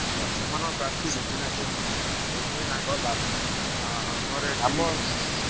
ହୁଁ ସେମାନଙ୍କ practice ଅଛି ନା ସବୁ ସେଇଥି ପାଇଁ ତାଙ୍କର ଲାଭ।